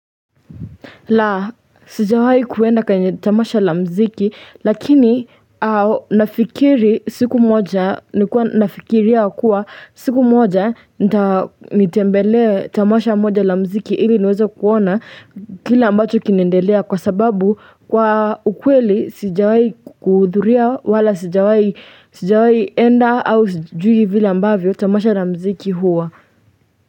La sijawahi kuenda tamasha la mziki lakini au nafikiri siku moja ni kuwa nafikiria kuwa siku moja nitembelee tamasha moja la mziki ili niweze kuona kile ambacho kinaendelea kwa sababu kwa ukweli sijawahi kuhudhuria wala sijawahi sijawahi enda au sijui vile ambavyo tamasha la mziki huwa.